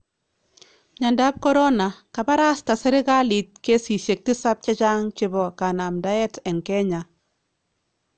Myandap corona :Kabarasta serikaliit keesisyeek 7 chechang chebo kanamdaet en Kenya